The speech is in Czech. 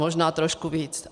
Možná trošku víc.